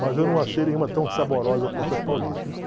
Mas eu não achei nenhuma tão saborosa quanto as paulistas.